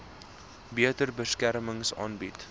beter beskerming aanbied